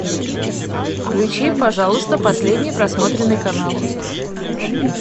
включи пожалуйста последний просмотренный канал